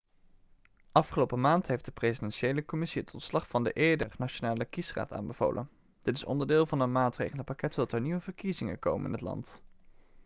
afgelopen maand heeft de presidentiële commissie het ontslag van de eerdere nationale kiesraad aanbevolen dit is onderdeel van een maatregelenpakket zodat er nieuwe verkiezingen komen in het land